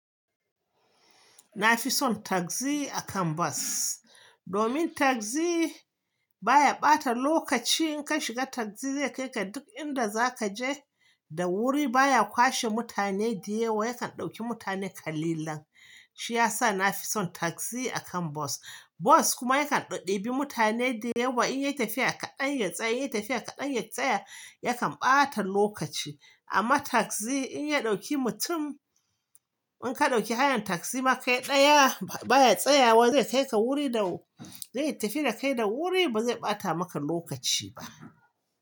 Nafi son taxi akan bus. Domin taxi baya bata lokaci in ka shiga tagzi zai kai ka duk inda zaka je da wuri. Baya kwashe mutane dayewa, yakan ɗauki mutane kalilan. Shi ya sa na fi son tagzi akan bas. Bus kuma yakan ɗebi mutane dayewa, in yayi tafiya kaɗan ya tsaya, yayi tafiya kaɗan ya tsaya, yakan ɓata lokaci. Amma taxi in ya dauki mutum, in ka dauki hayan taxi ma kai daya, baya tsayawa zai tafi da wuri bazai bata maka lokaci ba.